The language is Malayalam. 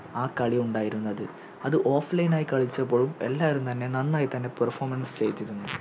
ആ കളി ഉണ്ടായിരുന്നത് അത് Offline ആയി കളിച്ചപ്പോൾ എല്ലാരും തന്നെ നന്നായിത്തന്നെ Performane ചെയ്തിരുന്നു